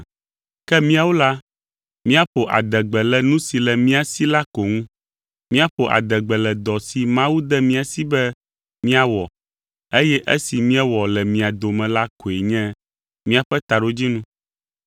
Ke míawo la, míaƒo adegbe le nu si le mía si la ko ŋu; míaƒo adegbe le dɔ si Mawu de mía si be míawɔ, eye esi míewɔ le mia dome la koe nye míaƒe taɖodzinu.